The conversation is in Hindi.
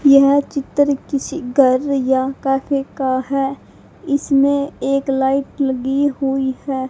यह चित्र किसी घर या कैफे का है इसमें एक लाइट लगी हुई है।